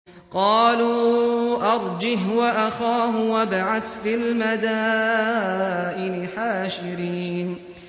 قَالُوا أَرْجِهْ وَأَخَاهُ وَابْعَثْ فِي الْمَدَائِنِ حَاشِرِينَ